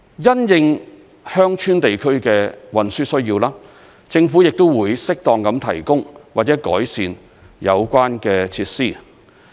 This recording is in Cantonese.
因應鄉村地區的運輸需要，政府亦會適當地提供或改善有關設施。